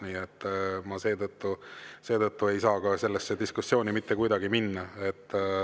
Nii et ma seetõttu ei saa sellesse diskussiooni mitte kuidagi minna.